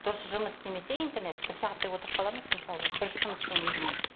дұрыс жұмыс істемесе интернет бір сағаттай отырып қаламыз мысалға бір сыныптың өзімен